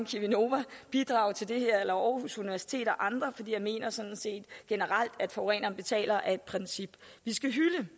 cheminova bidrage til det her eller aarhus universitet og andre fordi jeg mener sådan set generelt at forureneren betaler er et princip vi skal hylde